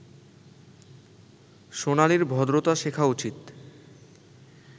সোনালির ভদ্রতা শেখা উচিত